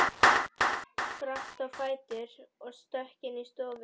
Spratt á fætur og stökk inn í stofu.